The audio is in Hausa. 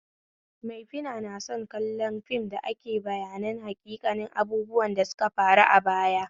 Maifina na son kallon fim dake bayanin haƙiƙanin abubuwan da suka faru a baya